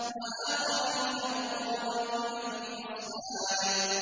وَآخَرِينَ مُقَرَّنِينَ فِي الْأَصْفَادِ